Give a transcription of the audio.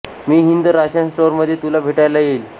मी Hind ration store मध्ये तुला भेटायला येईल